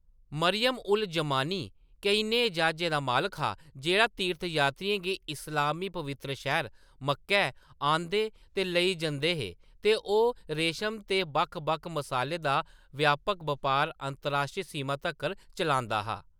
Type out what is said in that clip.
मरियम-उज़-ज़मानी केईं नेहे ज्हाजें दा मालक हा जेह्‌‌ड़ा तीर्थ यात्रियें गी इस्लामी पवित्तर शैह्‌र मक्कै आह्‌‌‌नदे ते लेई जंदे हे ते ओह्‌‌ रेशम ते बक्ख-बक्ख मसालें दा व्यापक बपार अंतरराश्ट्री सीमाएं तक्कर चलांदा हा।